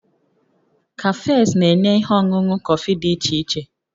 Cafes na-enye ihe ọṅụṅụ kọfị dị iche iche